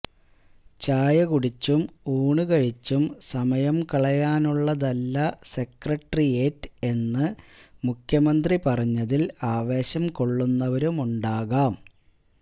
ചായ കുടിച്ചും ഊണുകഴിച്ചും സമയം കളയാനുള്ളതല്ല സെക്രട്ടേറിയേറ്റ് എന്ന് മുഖ്യമന്ത്രി പറഞ്ഞതിൽ ആവേശം കൊള്ളുന്നവരുമുണ്ടാകാം